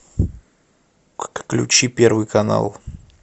включи первый канал